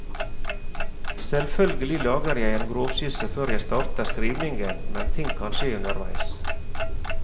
Selvfølgelig lager jeg en grovskisse før jeg starter skrivningen, men ting kan skje underveis.